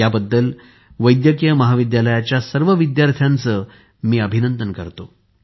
यासाठी मी वैद्यकीय महाविद्यलयाच्या सर्व विद्यार्थ्यांचे अभिनंदन करतो